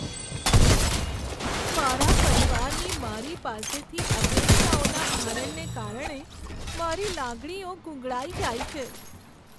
મારા પરિવારની મારી પાસેથી અપેક્ષાઓના ભારણને કારણે મારી લાગણીઓ ગૂંગળાઈ જાય છે.